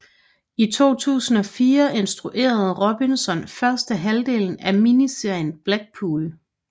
I 2004 instruerede Robinson første halvdel af miniserien Blackpool